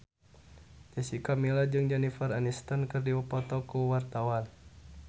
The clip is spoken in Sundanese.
Jessica Milla jeung Jennifer Aniston keur dipoto ku wartawan